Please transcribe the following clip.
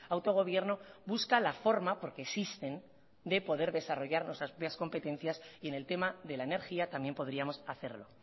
autogobierno busca la forma porque existen de poder desarrollar nuestras propias competencias y en el tema de la energía también podríamos hacerlo